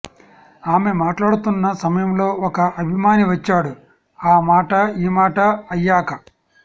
ఆమె మాట్లాడుతున్న సమయంలో ఒక అభిమాని వచ్చాడు ఆ మాటా ఈ మాటా అయ్యాక